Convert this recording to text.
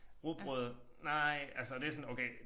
Rugbrød nej altså og det sådan okay